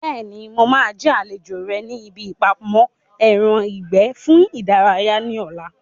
Bẹ́ẹ̀ni, mo máa jẹ́ àlejò rẹ ní ibi ìpamọ́ ẹran ìgbẹ́ fún ìdárayá ní ọ̀la